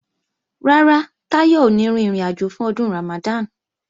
Rárá, Táyọ̀ ò ní rin ìrìnàjò fún Ọdún Ramadan